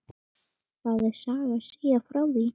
Það er saga að segja frá því.